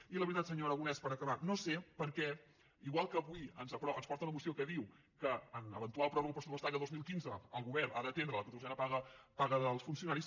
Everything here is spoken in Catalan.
i la veritat senyor aragonès per acabar no sé per què igual que avui ens porta una moció que diu que en eventual pròrroga pressupostària el dos mil quinze el govern ha d’atendre la catorzena paga dels funcionaris